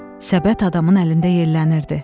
Səbət adamın əlində yellənirdi.